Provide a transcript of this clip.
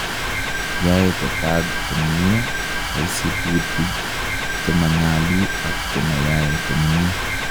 yae kotag komyee kaisuputig chema nyalu ak chema yae komyee